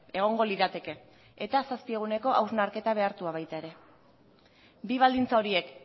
egongo lirateke eta zazpi eguneko hausnarketa behartua baita ere bi baldintza horiek